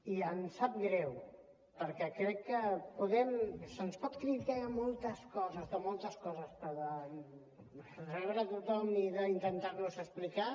i em sap greu perquè crec que se’ns pot criticar de moltes coses de moltes coses però de rebre a tothom i d’intentar nos explicar